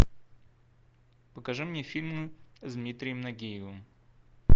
покажи мне фильмы с дмитрием нагиевым